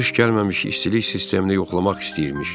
Qış gəlməmiş istilik sistemini yoxlamaq istəyirmiş.